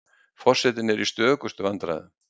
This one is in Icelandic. Forsetinn er í stökustu vandræðum.